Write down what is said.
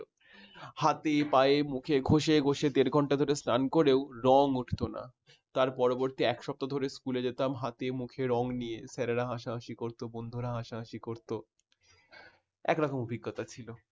হাতে পায়ে মুখে ঘসে ঘসে দেড় ঘন্টা ধরে স্নান করেও রঙ উঠল না। তার পরবর্তী এক সপ্তাহ ধরে স্কুলে যেতাম হাতে মুখে রঙ নিয়ে sir রা হাসাহাসি করত বন্ধুরা হাসাহাসি করত। এক রকম অভিজ্ঞতা ছিল